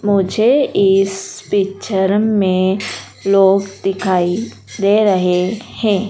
मुझे इस पिक्चर में लोग दिखाई दे रहे हैं।